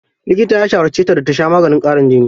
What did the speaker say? Likita ya shawarce ta da ta sha maganin ƙarin jini.